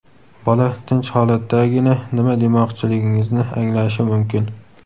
Bola tinch holatdagina nima demoqchiligingizni anglashi mumkin.